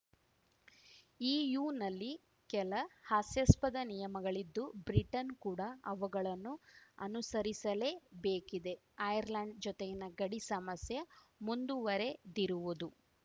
ಇಯುನಲ್ಲಿ ಕೆಲ ಹಾಸ್ಯಾಸ್ಪದ ನಿಯಮಗಳಿದ್ದು ಬ್ರಿಟನ್‌ ಕೂಡ ಅವಗಳನ್ನು ಅನುಸರಿಸಲೇಬೇಕಿದೆ ಐರ್ಲೆಂಡ್‌ ಜೊತೆಯಿನ ಗಡಿ ಸಮಸ್ಯೆ ಮುಂದುವರೆದಿರುವುದು